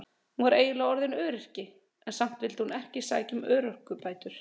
Hún var eiginlega orðin öryrki en samt vildi hún ekki sækja um örorkubætur.